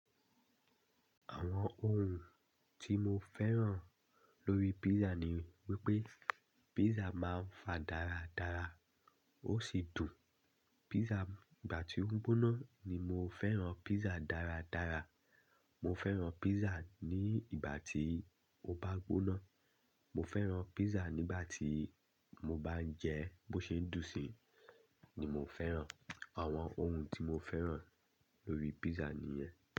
Àwọn ohun tí mo fẹ́ràn lórí pizza ni wípé pizza máa ń fa dáradára, ó sì dùn. Pizza gbà tí ó gbóná ni mo fẹ́ràn pizza dáradára. Mo fẹ́ràn pizza ní ìgbà tí ó bá gbóná. Mo fẹ́ràn pizza nígbà tí mo bá ń jẹ ẹ́ bó ṣe ń dùn si ni mo fẹ́ràn. Àwọn ohun tí mo fẹ́ràn lórí pizza nìyẹn.